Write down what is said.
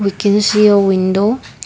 we can see a window.